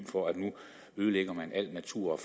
for at nu ødelægger man al natur